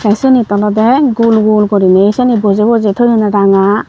te sinit olode gul gul guriney sini bojey bojey thoyun ranga.